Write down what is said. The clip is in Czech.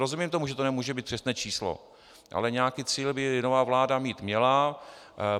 Rozumím tomu, že to nemůže být přesné číslo, ale nějaký cíl by nová vláda mít měla.